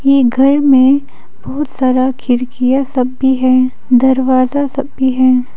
ये घर में बहुत सारा खिड़कियां सब भी है दरवाजा सब भी हैं।